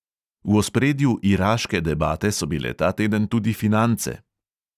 V ospredju iraške debate so bile ta teden tudi finance.